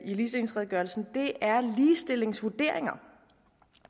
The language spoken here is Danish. i ligestillingsredegørelsen er ligestillingsvurderinger